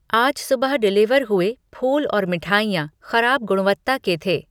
आज सुबह डिलीवर हुए फूल और मिठाइयाँ खराब गुणवत्ता के थें।